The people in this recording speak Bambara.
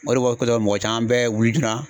O de kosɔn mɔgɔ caman bɛɛ wili joonan